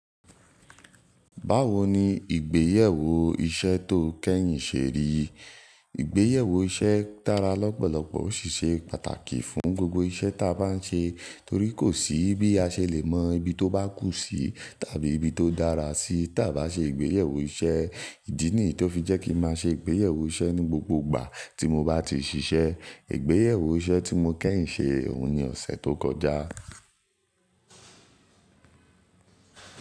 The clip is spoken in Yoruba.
Báwo ni ìgbéyèwò iṣẹ́ tó kẹ́yìn ṣe rí? Ìgbéyèwò iṣẹ́ dára lọ́pọ̀lọpọ̀ ó sì ṣe pàtàkì fún gbogbo iṣẹ́ ta bá ń ṣe torí kò sí bí a ṣe lè mọ ibi tó bá kù sí tàbí ibi tó dára sí tí a bá ṣe ìgbéyèwò iṣẹ́. Ìdí nì tó fi jẹ́ kí n má ṣe ìgbéyèwò iṣẹ́ ní gbogbo ìgbà tí mo bá ti ṣíṣe. Ìgbéyèwò iṣẹ́ tí mo kẹ́yìn ṣe, òun ni ọ̀sẹ̀ tó kọjá.